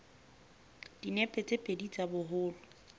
dinepe tse pedi tsa boholo